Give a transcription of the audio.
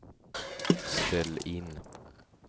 ställ in